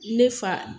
Ne fa